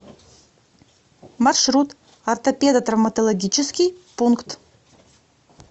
маршрут ортопедотравматологический пункт